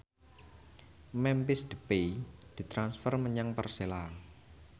Memphis Depay ditransfer menyang Persela